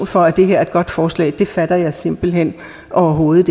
for at det her er et godt forslag fatter jeg simpelt hen overhovedet